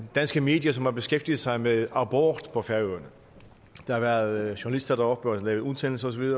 danske medier som har beskæftiget sig med abort på færøerne der har været journalister deroppe for at lave udsendelser